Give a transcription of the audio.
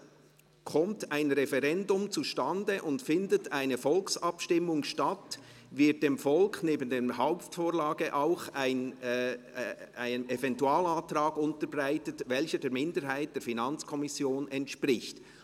] Kommt ein Referendum zustande und findet eine Volksabstimmung statt, wird dem Volk neben der Hauptvorlage auch ein Eventualantrag unterbreitet, welcher der Minderheit der Finanzkommission entspricht.